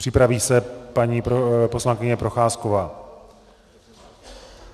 Připraví se paní poslankyně Procházková.